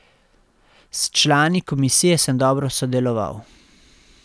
S člani komisije sem dobro sodeloval.